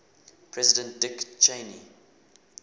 president dick cheney